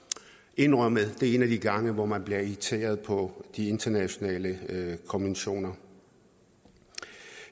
indrømmet det er en af de gange hvor man bliver irriteret på de internationale konventioner